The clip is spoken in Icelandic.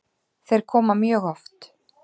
Þeir koma mjög oft.